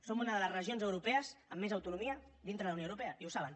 som una de les regions europees amb més autonomia dintre de la unió europea i ho saben